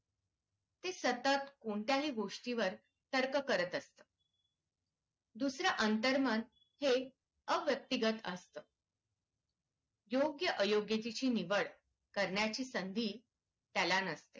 सतत कोणत्याही गोष्टी वर तर्क करत असत दुसऱ्याअंतर्मन हे अव्यक्तिगत असतं योग्य अयोग्य ची निवड करण्याची संधी त्याला नसते.